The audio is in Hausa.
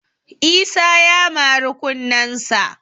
Isa ya mari kunnesa